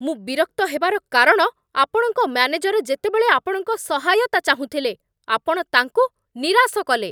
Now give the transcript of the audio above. ମୁଁ ବିରକ୍ତ ହେବାର କାରଣ ଆପଣଙ୍କ ମ୍ୟାନେଜର ଯେତେବେଳେ ଆପଣଙ୍କ ସହାୟତା ଚାହୁଁଥିଲେ, ଆପଣ ତାଙ୍କୁ ନିରାଶ କଲେ।